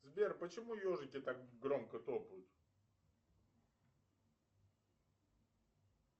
сбер почему ежики так громко топают